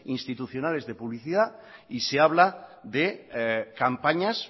institucionales de publicidad y se habla de campañas